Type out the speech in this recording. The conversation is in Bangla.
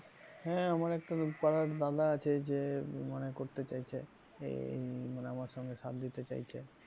হ্যাঁ আমার একটা পাড়ার দাদা আছে, যে মানে করতে চাইছে আহ মানে আমার সঙ্গে সাত দিতে চাইছে।